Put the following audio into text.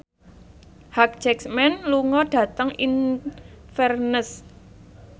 Hugh Jackman lunga dhateng Inverness